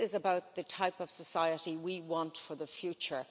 this is about the type of society we want for the future.